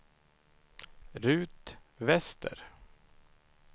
Rut Wester